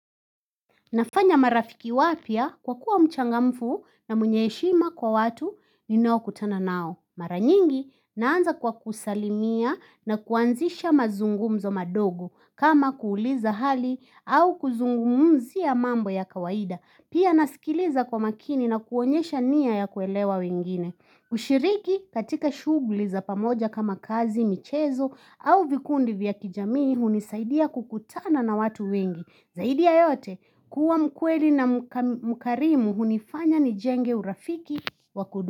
Nafanya marafiki wapya kwa kuwa mchangamfu na mwenye heshima kwa watu ninao kutana nao. Maranyingi naanza kwa kusalimia na kuanzisha mazungumzo madogo kama kuuliza hali au kuzungumzia mambo ya kawaida. Pia nasikiliza kwa makini na kuonyesha nia ya kuelewa wengine. Kushiriki katika shugli za pamoja kama kazi, michezo au vikundi vya kijamii hunisaidia kukutana na watu wengi. Zaidi ya yote kuwa mkweli na mkarimu hunifanya ni jenge urafiki wa kudumu.